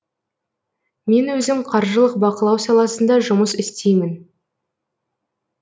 мен өзім қаржылық бақылау саласында жұмыс істеймін